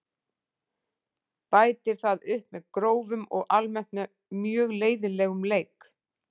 Bætir það upp með grófum og almennt mjög leiðinlegum leik.